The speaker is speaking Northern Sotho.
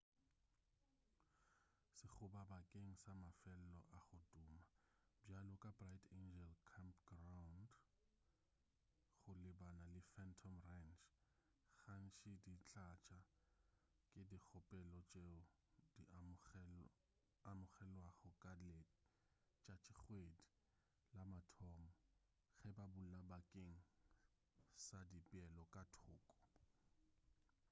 sekgoba bakeng sa mafelo a go tuma bjalo ka bright angel campgraund go lebana le phantom ranch gantši di tlatša ke dikgopelo tšeo di amogelwago ka letšatšikgwedi la mathomo ge ba bula bakeng sa dipeelo ka thoko